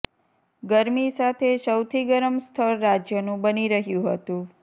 ગરમી સાથે સૌથી ગરમ સ્થળ રાજ્યનું બની રહ્યું હતું